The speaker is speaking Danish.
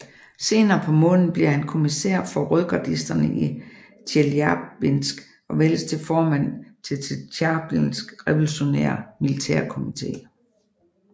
Senere på måneden bliver han kommissær for rødgardisterne i Tjeljabinsk og vælges til formand for Tjeljabinsk revolutionære militærkomite